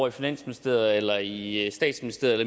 i finansministeriet eller i statsministeriet